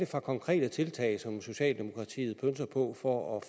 for konkrete tiltag som socialdemokratiet pønser på for at